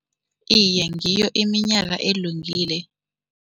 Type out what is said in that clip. Iye, ngiyo iminyaka elungile.